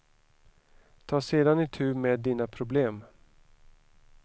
Ta sedan itu med dina problem.